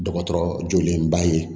Dɔgɔtɔrɔ joolenba ye